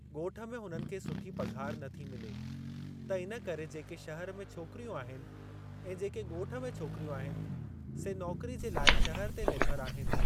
ॻोठ में हुननि खे सुठी पघार नथी मिले त इन करे जेके शहरु में छोकिरियूं आहिनि ऐं जेके ॻोठ में छोकिरियूं आहिनि, से नौकरी जे लाइ शहर ते निर्भरु आहिनि।